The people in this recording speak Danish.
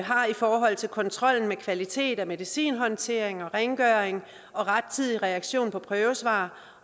har i forhold til kontrollen med kvalitets og medicinhåndtering og rengøring og rettidig reaktion på prøvesvar